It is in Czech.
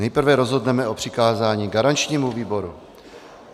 Nejprve rozhodneme o přikázání garančnímu výboru.